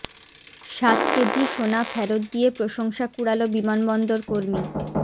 সাত কেজি সোনা ফেরত দিয়ে প্রশংসা কুড়ালো বিমানবন্দর কর্মী